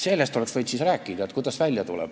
Sellest oleks võinud rääkida.